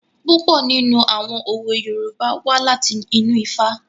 Púpọ̀ nínú àwọn òwe Yorùbá wá láti inú Ifá.